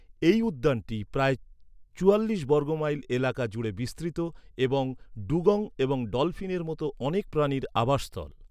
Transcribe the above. এই উদ্যানটি প্রায় চুয়াল্লিশ বর্গমাইল এলাকা জুড়ে বিস্তৃত এবং ডুগং এবং ডলফিনের মতো অনেক প্রাণীর আবাসস্থল।